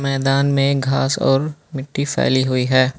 मैदान में घास और मिट्टी फैली हुई है।